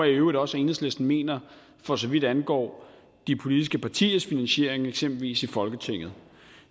i øvrigt også at enhedslisten mener for så vidt angår de politiske partiers finansiering eksempelvis i folketinget